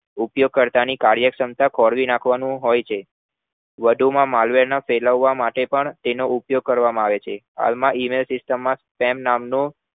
ઉપયોગ કરતા ની કાર્યષમતાને ખોરવી નાખવાનું હોય છે વધુ માં marvel નો સેલાવવા માટે પણ તેનો ઉપયોગ કરવામાં આવે છે હાલમાં email માં system નામ નો